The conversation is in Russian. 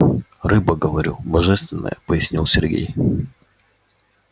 рыба говорю божественная пояснил сергей